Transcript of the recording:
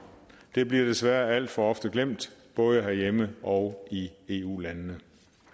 det bliver desværre alt for ofte glemt både herhjemme og i eu landene